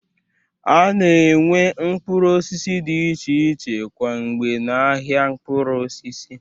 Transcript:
A na-enwe mkpụrụ osisi dị iche iche kwa mgbe n'ahịa mkpụrụ osisi